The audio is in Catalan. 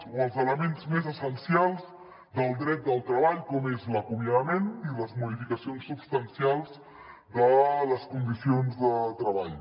o els elements més essencials del dret del treball com és l’acomiadament i les modificacions substancials de les condicions de treball